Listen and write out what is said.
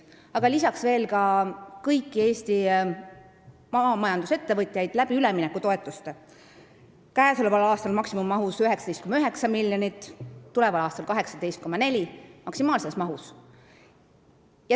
Aga lisaks toetame kõiki Eesti maamajandusettevõtjaid üleminekutoetustega, mida käesoleval aastal makstakse maksimummahus, 19,9 miljonit, ning tuleval aastal 18,4 miljonit, ka maksimaalses mahus.